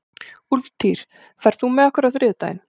Úlftýr, ferð þú með okkur á þriðjudaginn?